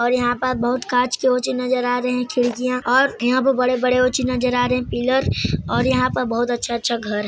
और यहाँ पर कांच के बहुत ओ चीज नजर आ रहे है खिड़किया और यहाँ बड़े-बड़े ओ चीज नजर आ रहे है पिलर और यहाँ पर बहुत अच्छा-अच्छा घर है।